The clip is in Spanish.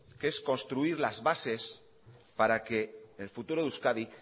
que es construir las bases para que el futuro de euskadi